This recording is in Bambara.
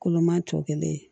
Koloman tɔ kelen